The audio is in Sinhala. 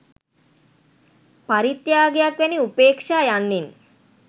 පරිත්‍යාගයක් වැනි උපේක්‍ෂා යන්නෙන්